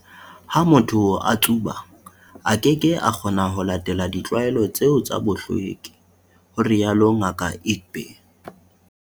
"Ha motho a tsuba, a keke a kgona ho latela ditlwaelo tseo tsa bohlweki," ho rialo Ngaka Egbe.